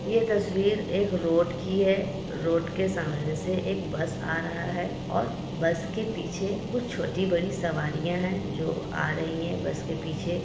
ये तस्वीर एक रोड की है| रोड के सामने से एक बस आ रहा है और बस के पीछे कुछ छोटी-बड़ी सवारियां है जो आ रही है बस के पीछे|